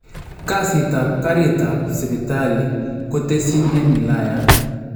Kasit ap Karit ap Sipitali kotesyin en wilayat